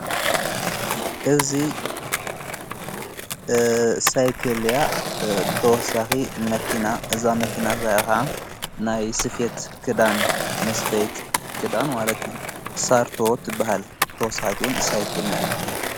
እዙ ሳይክልያ ብተወሳኺ መኪና እዛ መኪና ሣያኻ ናይ ስፊት ግዳን መስፈይት ግዳን ዋለቱ ሣርቶወት በሃል ብተወሳሒትውን ሳይክል ነዕዝበ።